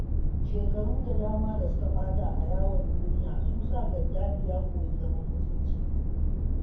Shekaru da dama da suka ɓata a yawon duniya sun sa Gaddafi ya koyi zaman mutunci.